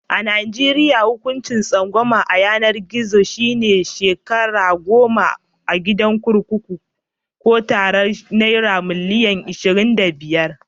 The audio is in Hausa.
A najeriya, hukuncin tsangwama a yanar gizo shi ne shekaru goma a kurkuku Ko tarar naira milian ashirin da biyar.